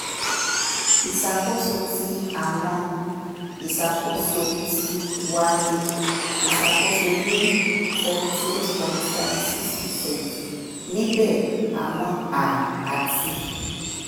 iṣakoso ti awọn b+ iṣakoso ti wa ni iṣakoso ni seventy eight point three six percent nibẹ awọn a ati b+